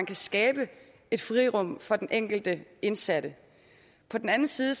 kan skabes et frirum for den enkelte indsatte på den anden side